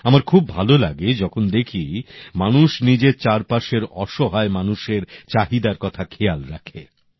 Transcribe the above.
আমার খুব ভালো লাগে যখন দেখি মানুষ নিজের চারপাশের অসহায় মানুষের চাহিদার কথা খেয়াল রাখে